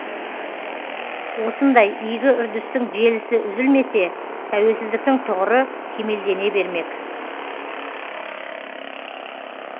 осындай игі үрдістің желісі үзілмесе тәуелсіздіктің тұғыры кемелдене бермек